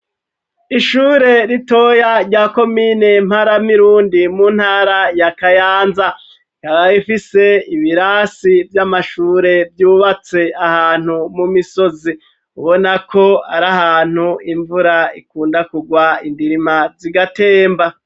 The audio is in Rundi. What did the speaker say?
Ishure ritoya rya komine mparamirundi mu ntara ya kayanza ryari ifise ibirasi vy'amashure vyubatse ahantu mu misozi ubona ko ari ahantu imvura ikunda kugwa indirima zigatemba.